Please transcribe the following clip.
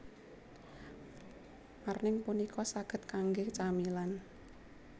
Marning punika saged kangge camilan